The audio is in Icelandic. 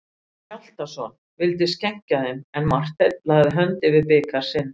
Ólafur Hjaltason vildi skenkja þeim, en Marteinn lagði hönd yfir bikar sinn.